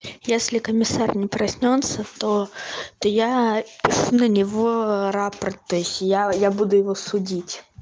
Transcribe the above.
если комиссар не проснётся то то я пишу на него рапорт то есть я я буду его судить